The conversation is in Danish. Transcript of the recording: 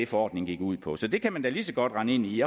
forordningen gik ud på så det kan man da lige så godt rende ind i